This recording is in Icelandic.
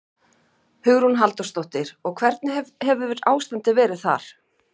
Hugrún Halldórsdóttir: Og hvernig hefur ástandið verið þar?